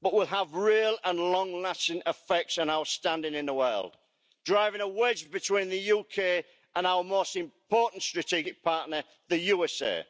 but will have real and long lasting effects on our standing in the world, driving a wedge between the UK and our most important strategic partner, the USA.